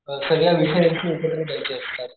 सगळ्या विषयाचे देयचे असतात.